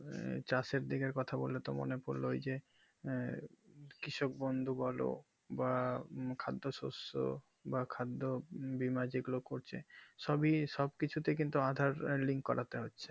এই চাষের দিকের কথা বললে তো মনে পড়লো ওই যে আঃ কৃষক বন্ধু বোলো বা খাদ্য শস্য বা খাদ্য বীমা যে গুলো করছে সবই সবকিছুতে কিন্তু aadhaar link করাতে হচ্ছে